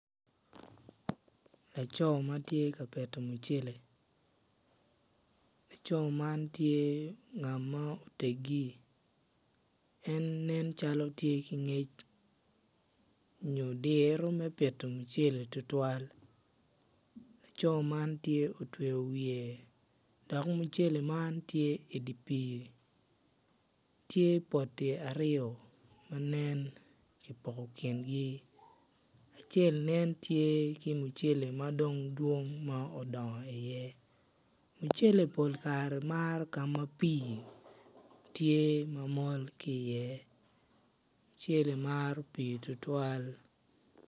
Laco ma tye ka pito mucere laco man tye ngat ma oteggi en nen calo tye ki ngec nyo diro me pito mucele tutwal laco man tye otweyo wiye dok mucele man tye i dye pii tye poti aryo ma nen kipoko kingi acel nen tye ki mucele madong nen odongo iye mucele pol kare maro ka ma pii tye ma mol ki iye mucele maro pii tutwal.